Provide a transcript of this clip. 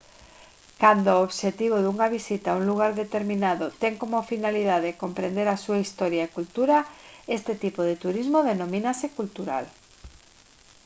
cando o obxectivo dunha visita a un lugar determinado ten como finalidade comprender a súa historia e cultura este tipo de turismo denomínase cultural